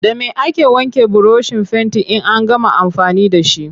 Da me ake wanke burushin fentin in an gama amfani da shi?